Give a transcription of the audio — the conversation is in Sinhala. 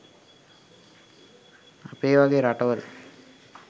අපේ වගේ රටවල.